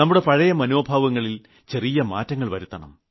നമ്മുടെ പഴയ മനോഭാവങ്ങളിൽ ചെറിയ മാറ്റങ്ങൾ വരുത്തണം